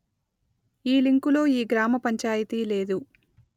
ఈ లింకు లో ఈ గ్రామ పంచాయితీ లేదు